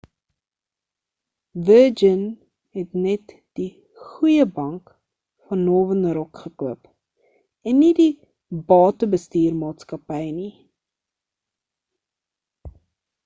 virgin het net die goeie bank van northern rock gekoop en nie die batebestuur maatskappy nie